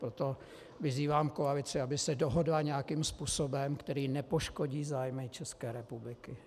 Proto vyzývám koalici, aby se dohodla nějakým způsobem, který nepoškodí zájmy České republiky.